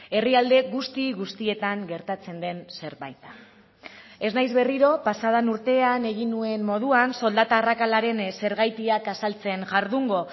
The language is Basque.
herrialde guzti guztietan gertatzen den zerbait da ez naiz berriro pasa den urtean egin nuen moduan soldata arrakalaren zergatiak azaltzen jardungo